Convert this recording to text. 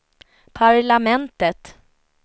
parlamentet